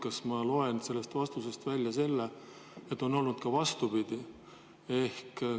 Kas ma loen sellest vastusest välja selle, et on olnud ka vastupidi?